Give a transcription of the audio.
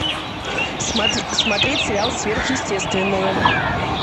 смотреть сериал сверхъестественное